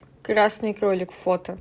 красный кролик фото